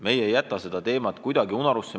Meie ei jäta seda teemat kunagi unarusse.